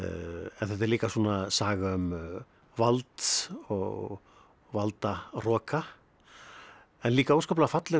en þetta er líka saga um vald og valdahroka en líka óskaplega falleg